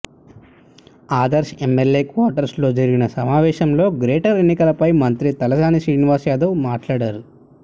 Adarsh MLA quarters లో జరిగిన సమావేశంలో గ్రేటర్ ఎన్నికలపై మంత్రి తలసాని శ్రీనివాస్ యాదవ్ మాట్లాడారు